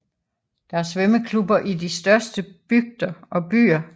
Der er svømmeklubber i de største bygder og byer